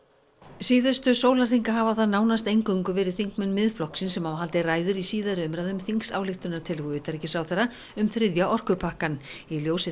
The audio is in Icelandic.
síðustu sólarhringa hafa það nánast eingöngu verið þingmenn Miðflokksins sem hafa haldið ræður í síðari umræðu um þingsályktunartillögu utanríkisráðherra um þriðja orkupakkann í ljósi